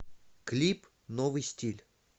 клип новый стиль